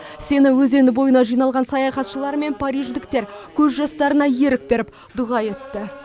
сена өзені бойына жиналған саяхатшылар мен париждіктер көз жастарына ерік беріп дұға етті